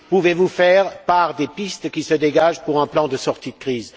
pouvez vous nous faire part des pistes qui se dégagent pour un plan de sortie de crise?